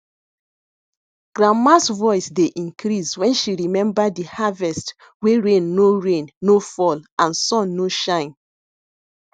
grandmas voice dey increase when she remember de harvest wey rain no rain no fall and sun no shine